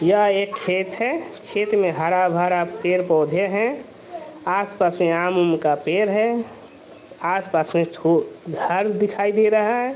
यह एक खेत है खेत में हरा-भरा पेड़-पौधे हैं आस-पास में आम-उम का पेड़ है आस-पास में छो घर दिखाई दे रहा है।